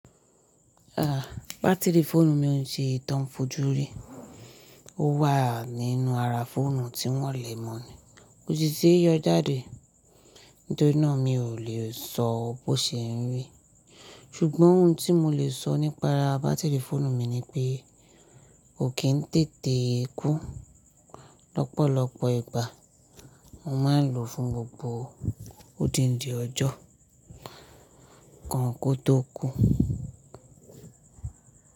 Ah, bátìrì fóònù mi ń ṣe ìtàn fójú rí. Ó wà nínú ara fóònù tí ń wọ̀lẹ́ mọ́ ni. Ko si ṣe yọ jáde. Nítorí náà mi ò lè sọ bó ṣe ń rí. Ṣùgbọ́n ohun tí mo lè sọ nípa bátìrì fóònù mi ni pé ó kì í n tètè kú. Lọ́pọ̀lọ́pọ̀ ìgbà mo máa ń lò fún gbogbo ó dinde ọjọ́ kàn kó tó kú.